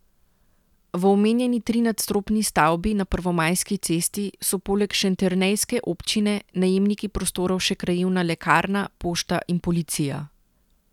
V omenjeni trinadstropni stavbi na Prvomajski cesti so poleg šentjernejske občine najemniki prostorov še krajevna lekarna, pošta in policija.